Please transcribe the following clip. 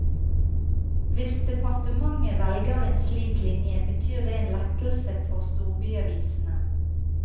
Hvis departementet velger en slik linje, betyr det en lettelse for storbyavisene.